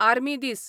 army दीस